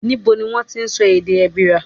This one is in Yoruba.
Níbo ni wón ti ń sọ èdè Èbìrà?